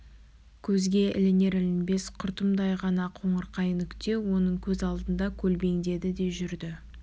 көзге ілінер-ілінбес құртымдай ғана қоңырқай нүкте оның көз алдында көлбеңдеді де жүрді